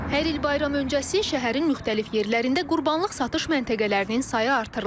Hər il bayram öncəsi şəhərin müxtəlif yerlərində qurbanlıq satış məntəqələrinin sayı artırılır.